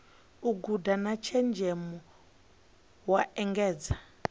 guda na tshenzhemo u engedza